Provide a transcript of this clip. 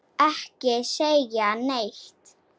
Ekki segja neitt!